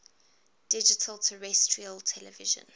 digital terrestrial television